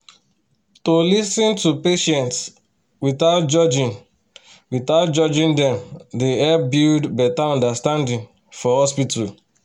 to lis ten to patients without judging without judging dem dey help build better understanding for hospital.